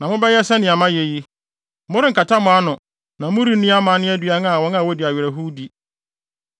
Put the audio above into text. Na mobɛyɛ sɛnea mayɛ yi, morenkata mo ano na morenni amanne aduan a wɔn a wodi awerɛhow di.